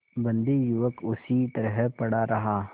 बंदी युवक उसी तरह पड़ा रहा